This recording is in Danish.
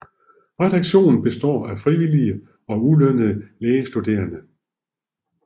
Redaktionen består af frivillige og ulønnede lægestuderende